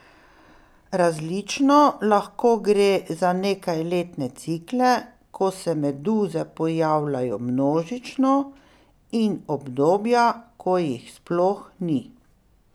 Različno, lahko gre za nekajletne cikle, ko se meduze pojavljajo množično, in obdobja, ko jih sploh ni.